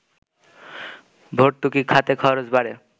ভর্তুকি খাতে খরচ বাড়ে